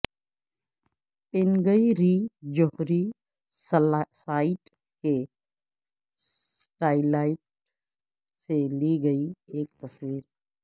Punggye ri جوہری site کی satellite سے لی گئی ایک تصویر